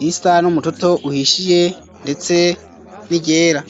irisa n'umututo uhishiye, ndetse n'iryera.